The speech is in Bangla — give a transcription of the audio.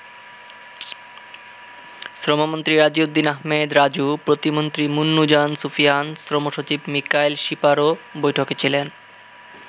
শ্রমমন্ত্রী রাজিউদ্দিন আহমেদ রাজু, প্রতিমন্ত্রী মুন্নুজান সুফিয়ান, শ্রমসচিব মিকাইল শিপারও বৈঠকে ছিলেন।